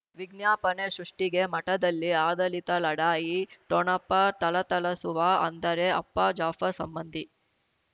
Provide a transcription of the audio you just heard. ವಿಜ್ಞಾಪನೆ ಸೃಷ್ಟಿಗೆ ಮಠದಲ್ಲಿ ಆದಳಿತ ಲಢಾಯಿ ಠೊಣಪ ಥಳಥಳಸುವ ಅಂದರೆ ಅಪ್ಪ ಜಾಫರ್ ಸಂಬಂಧಿ